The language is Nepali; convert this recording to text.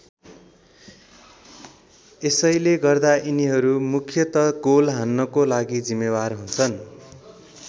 यसैले गर्दा यिनीहरू मुख्यतः गोल हान्नको लागि जिम्मेवार हुन्छन्।